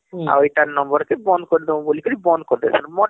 ହଁ ଆଉ ଇଟାର number କେ ବନ୍ଦ କରି ଡାଁମୁଂ ବୋଲିକିରି ବନ୍ଦ କରିଦେବେ